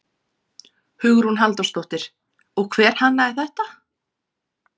Hugrún Halldórsdóttir: Og hver hannaði þetta?